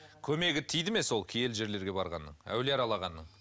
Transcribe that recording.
көмегі тиді ме сол киелі жерлерге барғанның әулие аралағанның